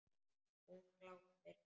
Hún glápir.